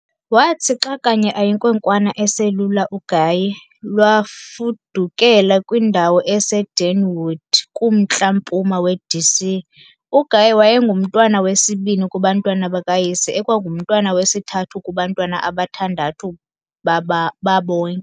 Wathi xa kanye ayinkwenkwana eselula uGaye, lwafudukela kwindawo eseDeanwood kumntla-mpuma weD.C. UGaye wayengumntwana wesibini kubantwana bakayise ekwangumntwana wesithathu kubantwana abathandu babonke.